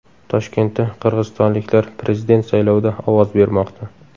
Toshkentda qirg‘izistonliklar prezident saylovida ovoz bermoqda.